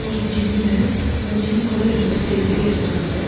ஒரு ஜிம்மு அந்த ஜிம் குள்ள ரெண்டு பேர் செல்ஃபி எடுக்குறாங்க.